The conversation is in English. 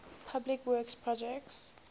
public works projects